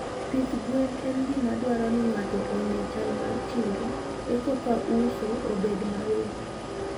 Pith gwen en gima dwaro ni ng'ato ong'e chal mar chiro ekoka uso obed mayot.